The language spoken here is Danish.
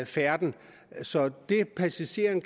færden så det passageren